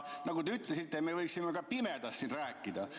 Nagu te ütlesite, me võiksime siin ka pimedas rääkida.